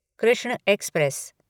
Krishna express